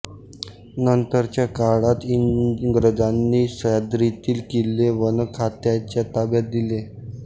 नंतरच्या काळात इंग्रजांनी सह्याद्रितील किल्ले वनखात्याच्या ताब्यात दिले